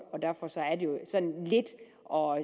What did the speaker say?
og